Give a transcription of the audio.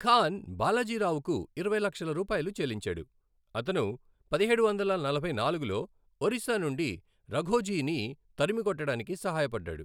ఖాన్ బాలాజీ రావుకు ఇరవై లక్షల రూపాయిలు చెల్లించాడు, అతను పదిహేడు వందల నలభై నాలుగులో ఒరిస్సా నుండి రఘోజీని తరిమికొట్టడానికి సహాయపడ్డాడు.